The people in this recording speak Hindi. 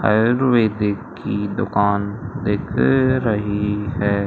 आयुर्वेदिक की दुकान दिख रही है।